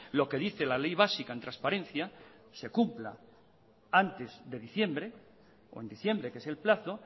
lo que dice la ley básica en transparencia se cumpla antes de diciembre o en diciembre que es el plazo